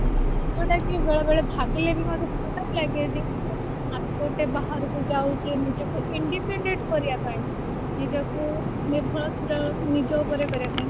ଯୋଉଁଟାକି ବେଳେବେଳେ ଭାବିଲେ ବି ମଧ୍ୟ ଖରାପ ଲାଗେ ଯେ ଆମେ ଯେହେତୁ ବାହାରକୁ ଯାଉଛେ ନିଜକୁ independent କରିବା ପାଇଁ ନିଜକୁ ନିର୍ଭରଶୀଳ ନିଜ ଉପରେ କରିବା ପାଇଁ